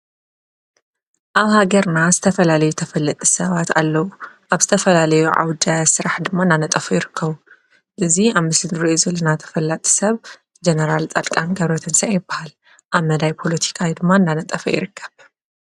ኣብ ሃገርና ዝተፈላለዩ ተፈለጥቲ ሰባት ኣለው። ኣብ ዝተፈላለዩ ዓውደ ስራሕ ድማ እናነጠፉ ይርከቡ። እዚ ኣብ ምስሊ ንሪኦ ዘለና ተፈላጢ ሰብ ጀነራል ፃድቃን ገ/ብረትንሳኤ ይበሃል። ኣብ መvvvዳይ ፖለቲካ ድማ እናነጠፈ ይርከብ፡፡